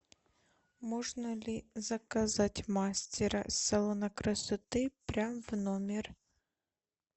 можно ли заказать мастера салона красоты прям в номер